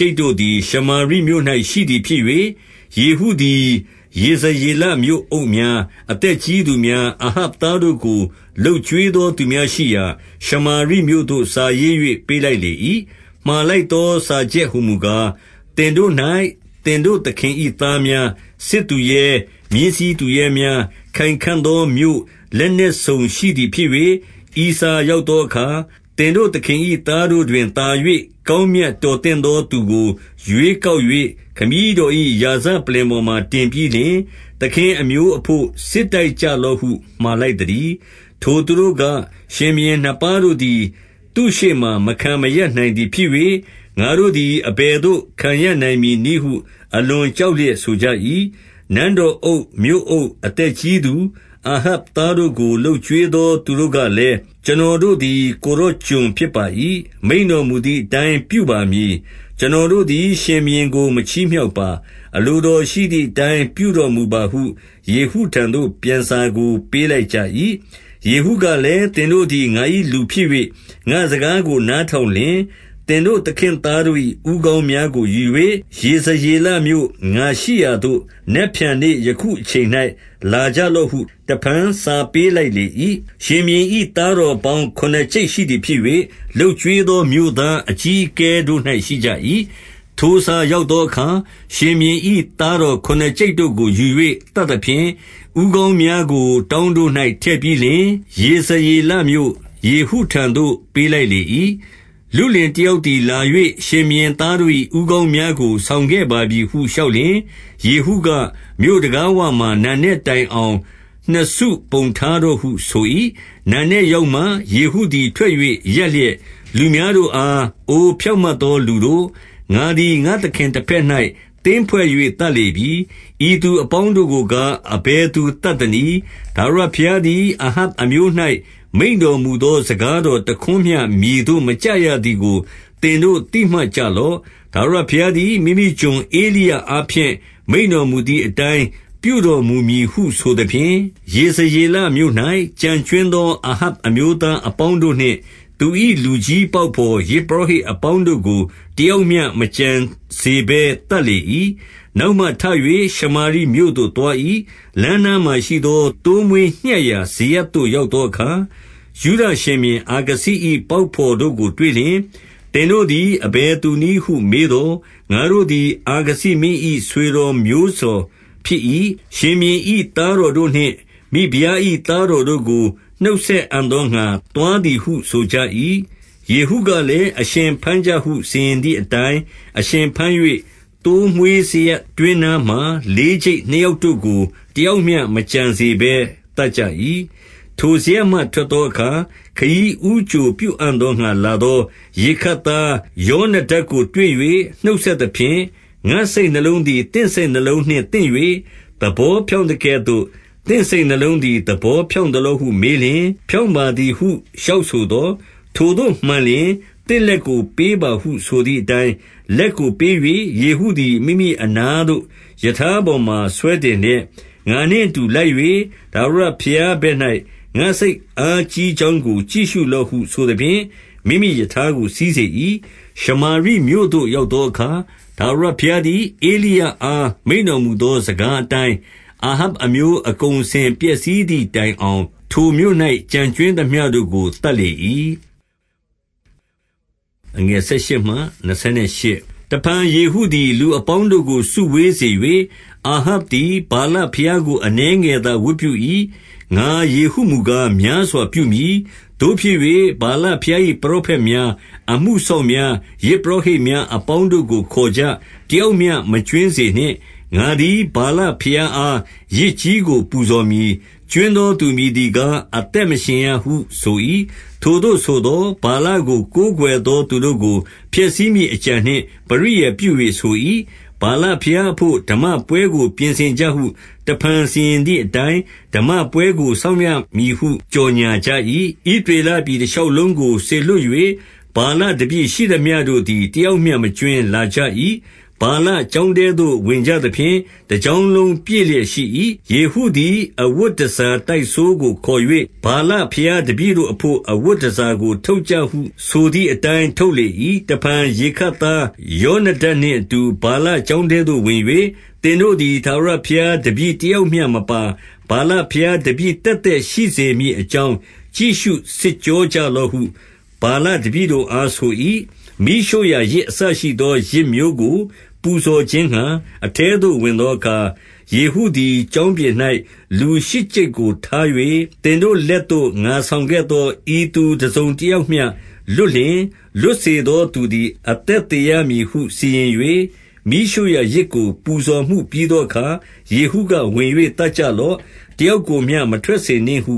ျိပ်တို့သည် ရှာမရိမြို့၌ ရှိသည်ဖြစ်၍၊ ယေဟုသည် ယေဇရေလမြို့အုပ်များ၊ အသက်ကြီးသူများ၊ အာဟပ်သားတို့ ကိုလုပ်ကျွေးသော သူများရှိရာ၊ ရှမာရိမြို့သို့ စားရေး၍ ပေးလိုက်လေ၏။ 2 မှာလိုက်သောစာချက်ဟူမူကား၊ သင်တို့၌သင်တို့ သခင်၏သားများ၊ စစ်သူရဲ၊ မြင်းစီးသူရဲများ၊ ခိုင်ခံ့သောမြို့၊ လက်နက်စုံရှိသည်ဖြစ်၍၊ ဤစာရောက်သောအခါ၊ 3 သင်တို့သခင်၏သားတို့တွင်သာ၍ ကောင်းမြတ် တော်သင့်သောသူကို ရွေးကောက်၍ ခမည်းတော်၏ရာဇ ပလ္လင်ပေါ်မှာတင်ပြီးလျှင်၊ သခင်အမျိုးအဘို့ စစ်တိုက်ကြ လော့ဟု မှာလိုက်သတည်း။ 4 ထိုသူတို့က၊ ရှင်ဘုရင်နှစ်ပါးတို့သည် သူ့ရှေ့မှာ မခံမရပ်နိုင်သည် ဖြစ်၍၊ ငါတို့သည် အဘယ်သို့ ခံရပ်နိုင် မည်နည်းဟု အလွန်ကြောက်လျက် ဆိုကြ၏။ 5 နန်းတော်အုပ်၊ မြို့အုပ်၊ အသက်ကြီးသူ၊ အာဟပ် သားတို့ကို လုပ်ကျွေးသော သူတို့ကလည်း၊ ကျွန်တော်တို့ သည် ကိုယ်တော်ကျွန်ဖြစ်ပါ၏။ မိန့်တော်မူသည်အတိုင်း ပြုပါမည်။ ကျွန်တော်တို့သည် ရှင်ဘုရင် ကိုမချီးမြှောက်ပါ။ အလိုတော်ရှိသည်အတိုင်း ပြုတော်မူပါဟု ယေဟုထံသို့ ပြန်စာကို ပေးလိုက်ကြ၏။ 6 ယေဟုကလည်း၊ သင်တို့သည် ငါ၏လူဖြစ်၍ ငါ့စကားကို နားထောင်လျှင်၊ သင်တို့သခင့်သားတို့၏ ဦးခေါင်းများကိုယူ၍ ယေဇရလေမြို့၊ ငါရှိရာသို့ နက်ဖြန် နေ့ယခုအချိန်၌ လာကြလော့ဟု တဖန်စားပေး လိုက်လေ၏။ ရှင်ဘုရင်၏သားတော်ပေါင်း ခုနစ်ကျိပ် ရှိသည်ဖြစ်၍၊ လုပ်ကျွေးသောမြို့သားအကြီးအကဲတို့၌ ရှိကြ၏။ 7 ထိုစာရောက်သောအခါ၊ ရှင်ဘုရင်၏ သားတော် ခုနစ်ကျိပ်တို့ကိုယူ၍ သတ်သဖြင့်၊ ဦးခေါင်းများကို တောင်း တို့၌ ထည့်ပြီးလျှင်၊ ယေဇရေလမြို့၊ ယေဟုထံသို့ ပေးလိုက် လေ၏။ 8 လုလင်တယောက်သည် လာ၍ရှင်ဘုရင်သားတို့ ၏ ဦးခေါင်းများကို ဆောင်ခဲ့ပါပြီဟု လျှောက်လျှင်၊ ယေဟု က၊ မြို့တံခါးဝမှာ နံနက်တိုင်အောင် နှစ်စုပုံထားတော့ဟု ဆို၏။ 9 နံနက်ရောက်မှယေဟုသည် ထွက်၍ရပ်လျက် လူများတို့အား၊ အိုဖြောင့်မတ်သောလူတို့၊ ငါသည် ငါ့သခင် တဘက်၌ သင်းဖွဲ့၍ သတ်လေပြီ။ ဤသူအပေါင်းတို့ကို ကား အဘယ်သူသတ်သနည်း။ 10 ထာဝရဘုရားသည် အာဟပ်အမျိုး၌ မိန့်တော် မူသော စကားတော်တခွန်းမျှမြေသို့ မကျရသည်ကို သင်တို့ သိမှတ်ကြလော့။ ထာဝရဘုရားသည် မိမိကျွန်ဧလိယ အားဖြင့် မိန့်တော်မူသည်အတိုင်း ပြုတော်မူမည်ဟု ဆိုသဖြင့်၊ 11 ယေဇရေလမြို့၌ ကျန်ကြွင်းသော အာဟပ် အမျိုးသားအပေါင်းတို့နှင့် သူ၏ လူကြီးပေါက်ဘော်၊ ယဇ်ပုရောဟိတ်အပေါင်းတို့ကို တယောက်မျှမကျန်စေဘဲ သတ်လေ၏။ 12 နောက်မှထ၍ ရှမာရိမြို့သို့သွား၏။ လမ်းနားမှာ ရှိသော သိုးမွေးညှပ်ရာစရပ်သို့ ရောက်သောအခါ၊ 13 ယုဒရှင်ဘုရင်အာခဇိ၏ ပေါက်ဘော်တို့ကို တွေ့လျှင်၊ သင်တို့သည် အဘယ်သူနည်းဟု မေးသော်၊ ငါတို့သည် အာခဇိမင်း၏ ဆွေတော်မျိုးတော်ဖြစ်၏။ ရှင်ဘုရင်၏ သားတော်တို့နှင့် မိဖုရား၏ သားတော်တို့ကို နှုတ်ဆက်အံ့သောငှါ သွားသည်ဟု ဆိုကြ၏။ 14 ယေဟုကလည်း၊ အရှင်ဘမ်းကြဟု စီရင်သည် အတိုင်း၊ အရှင်ဘမ်း၍ သိုးမွေးစရပ်တွင်းနားမှာ လေးကျိပ် နှစ်ယောက်တို့ကို တယောက်မျှမကျန်စေဘဲ သတ်ကြ၏။ 15 ထိုစရပ်မှထွက်သောအခါ ခရီးဦးကြိုပြုအံ့ဟု လာသော ရေခပ်သားယောနဒပ်ကို တွေ့၍နှုတ်ဆက် သဖြင့်၊ ငါ့စိတ်နှလုံးသည် သင့်စိတ်နှလုံးနှင့် သင့်၍ သဘောဖြောင့်သကဲ့သို့ သင့်စိတ်နှလုံးသည် သဘောဖြောင့် သလောဟုမေးလျှင်၊ ဖြောင့်ပါသည်ဟုလျှောက်ဆိုသော်၊ ထိုသို့မှန်လျှင် သင့်လက်ကိုပေးပါဟုဆိုသည်အတိုင်း၊ လက်ကိုပေး၍ယေဟုသည် မိမိအနားသို့ ရထားပေါ်မှာ ဆွဲတင်လျက်၊ 16 ငါနှင့်အတူလိုက်၍ ထာဝရဘုရားဘက်၌ ငါ့စိတ်အားကြီးကြောင်းကို ကြည့်ရှုလော့ဟုဆိုသဖြင့် မိမိရထားကို စီးစေ၏။ 17 ရှမာရိမြို့သို့ရောက်သောအခါ၊ ထာဝရဘုရား သည် ဧလိယအား မိန့်တော်မူသော စကားဘော်အတိုင်း၊ အာဟပ်အမျိုး အကုန်အစင်ပျက်စီးသည်တိုင်အောင် ထိုမြို့၌အကုန်အစင်ပျက်စီးသည်တိုင်အောင် ထိုမြို့၌ ကျန်ကြွင်းသေမျှတို့ကို သတ်လေ၏။ 18 တဖန်ယေဟုသည် လူအပေါင်းတို့ကို စုဝေး စေ၍၊ အာဟပ်သည် ဗာလဘုရားကို အနည်းငယ်သာ ဝတ်ပြု၏။ ငါယေဟုမူကား များစွာပြုမည်။ 19 သို့ဖြစ်၍ ဗာလဘုရား၏ ပရောဖက်များ၊ အမှုစောင့်များ၊ ယဇ်ပုရောဟိတ်များ အပေါင်းတို့ကို ခေါ်ကြ။ တယောက်မျှမကြွင်းစေနှင့်။ ငါသည် ဗာလ ဘုရားအား ယဇ်ကြီးကို ပူဇော်မည်။ ကြွင်းသောသူ မည်သည်ကား အသက်မရှင်ရဟုဆို၏။ ထိုသို့ဆိုသော်၊ ဗာလကို ကိုးကွယ်သော သူတို့ကို ဖျက်ဆီးမည် အကြံနှင့် ပရိယာယ် ပြု၍ဆို၏။ 20 ဗာလဘုရားအဘို့ ဓမ္မပွဲကို ပြင်ဆင်ကြဟု တဖန် စီရင်သည်အတိုင်း ဓမ္မပွဲကို စောင့်ရမည်ဟု ကြော်ငြာ ကြ၏။ 21 ဣသရေလပြည်တရှောက်လုံးသို့ စေလွှတ်၍၊ ဗာလတပည့် ရှိသမျှုတို့သည် တယောက်မျှ မကြွင်းလာကြ၏။ ဗာလ ကျောင်းထဲသို့ ဝင်ကြသဖြင့် တကျောင်းလုံးပြည့်လျက် ရှိ၏။ 22 ယေဟုသည် အဝတ်တန်ဆာတိုက်စိုးကိုခေါ်၍၊ ဗာလဘုရားတပည့်တို့အဘို့ အဝတ်တန်ဆာကို ထုတ်ကြ ဟုဆိုသည်အတိုင်း ထုတ်လေ၏။ 23 တဖန်ရေခပ်သားယောနဒပ်နှင့်အတူ ဗာလ ကျောင်းထဲသို့ ဝင်၍၊ သင်တို့သည် ထာဝရဘုရားတပည့် တယောက်မျှမပါ၊ ဗာလဘုရားတပည့် သက်သက်ရှိစေ မည်အကြောင်း ကြည့်ရှုစစ်ကြောကြလော့ဟု ဗာလ တပည့်တို့အား ဆို၏။ 24 မီးရှို့ရာယဇ်အစရှိသော ယဇ်မျိုးကိုပူဇော်ခြင်းငှါ အထဲသို့ဝင်သောအခါ၊ ယေဟုသည် ကျောင်းပြင်၌ လူရှစ်ကျိပ်ကိုထား၍၊ သင်တို့ လက်သို့ငါဆောင်ခဲ့သော ဤသူတစုံတယောက်မျှလွတ်လျှင်၊ လွတ်စေသော သူသည် အသက်သေရမည်ဟု စီရင်၍၊ 25 မီးရှို့ရာယဇ်ကို ပူဇော်မှုပြီးသောအခါ၊ ယေဟုက ဝင်၍ သတ်ကြလော့။ တယောက်ကိုမျှ မထွက်စေနှင့်ဟု